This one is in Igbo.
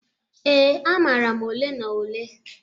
Ee, amara m ole na ole.